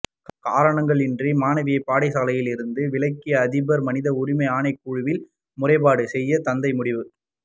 காரணங்களின்றி மாணவியை பாடசாலையிலிருந்து விலக்கிய அதிபர் மனித உரிமை ஆணைக்குழுவில் முறைப்பாடு செய்ய தந்தை முடிவு